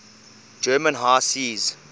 german high seas